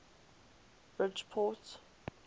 bridgeport